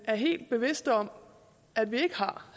er helt bevidste om at vi ikke har